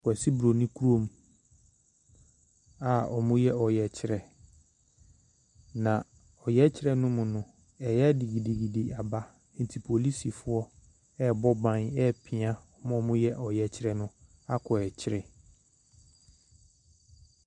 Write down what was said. Kwasi Broni kurom a ɔreyɛ ɔyɛkyerɛ. Na ɔyɛkyerɛ no mu no , ɛyɛ a de gidigidi aba nti polisifoɔ ɛɛbɔ ban epia wɔn a ɔyɛ ɔyɛkyerɛ no akɔ ɛkyere.